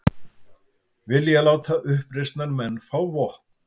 Vilja láta uppreisnarmenn fá vopn